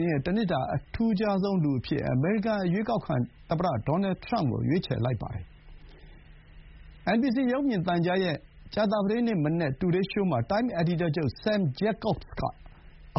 င်းရဲ့ တနှစ်တာ အထူးခြားဆုံးလူအဖြစ် အမေရိကန် အရွေးကောက်ခံ သမ္မတ ဒေါ်နယ် ထရမ့်ကို ရွေးချယ်လိုက်ပါတယ်။ NBC ရုပ်မြင်သံကြားရဲ့ ကြာသပတေးနေ့မနက် တူဒေးရှိုးမှာ တိုင်းမ် အယ်ဒီတာချုပ် Sam Jacobs က